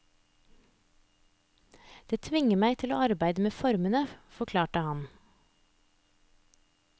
Det tvinger meg til å arbeide med formene, forklarer han.